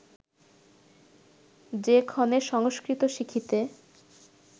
যে ক্ষণে সংস্কৃত শিখিতে